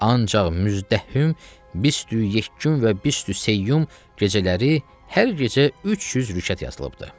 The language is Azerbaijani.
Ancaq Müztəhim, Bist-ü-yek gün və Bist-ü-seyyum gecələri hər gecə 300 rükət yazılıbdır.